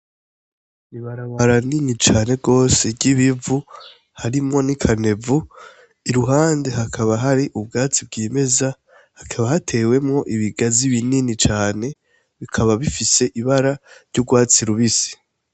Ibarabara nini cane gose ry'ibivu harimwo n'ikanevu, iruhande hakaba hari ubwatsi bwimeza, hakaba hatewemwo ibigazi binini cane bikaba bifise ibara ry'urwatsi rubisi.